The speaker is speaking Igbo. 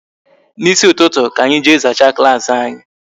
N'isi ụtụtụ ka anyi jee zachaa klaasị anyị